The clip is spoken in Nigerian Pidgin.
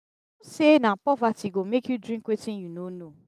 say na poverty go make you drink wetin you no know.